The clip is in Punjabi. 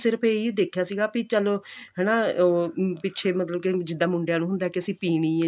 ਸਿਰਫ ਇਹੀ ਦੇਖਿਆ ਸੀਗਾ ਵੀ ਚੱਲ ਹਨਾ ਪਿੱਛੇ ਮਤਲਬ ਜਿੱਦਾਂ ਮੁੰਡਿਆਂ ਨੂੰ ਹੁੰਦਾ ਕਿ ਅਸੀਂ ਪੀਣੀ ਏ